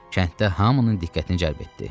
Kənddə hamının diqqətini cəlb etdi.